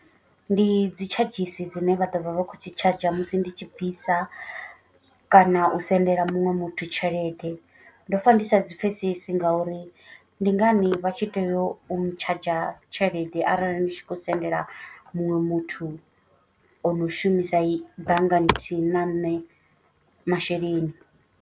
Ndi dzi tshadzhisi dzine vha ḓo vha vha khou tshi tshadzha musi ndi tshi bvisa. Kana u sendela muṅwe muthu tshelede ndo pfa ndi sa dzi pfhesesi ngauri ndi ngani vha tshi tea u ntshadzha tshelede. Arali ndi tshi khou sendela muṅwe muthu ono shumisa banngani nthihi na nṋe masheleni.